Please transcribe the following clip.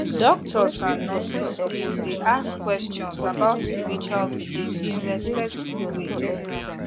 doctors and nurses suppose dey ask questions about spiritual belief in respectful way